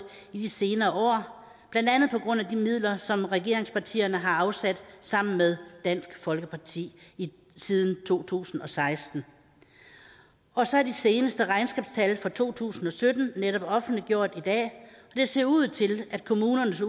i de senere år blandt andet på grund af de midler som regeringspartierne har afsat sammen med dansk folkeparti siden to tusind og seksten og så er de seneste regnskabstal for to tusind og sytten netop offentliggjort i dag det ser ud til at kommunernes